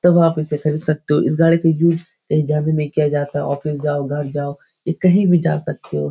तो आप इसे खरीद सकते हो इस गाड़ी की यूज कहीं जाने में किया जाता ऑफिस जाओ घर जाओ कहीं भी जा सकते हो।